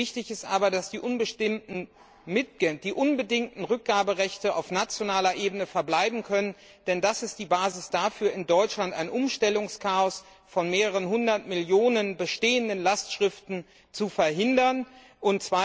Wichtig ist aber, dass die unbedingten Rückgaberechte auf nationaler Ebene verbleiben können, denn das ist die Basis dafür, dass in Deutschland ein Umstellungschaos von mehreren Hundert Millionen bestehenden Lastschriften verhindert wird.